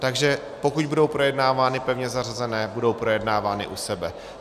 Takže pokud budou projednávány pevně zařazené, budou projednávány u sebe.